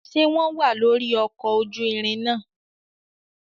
Ṣe wọn wà lóri ọkọ ojú ìrin náà?